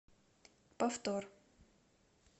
повтор